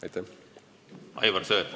Aivar Sõerd, palun!